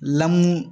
Lamu